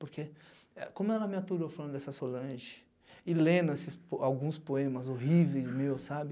Porque como ela me aturou falando dessa solange e lendo esses alguns poemas horríveis meus, sabe?